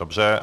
Dobře.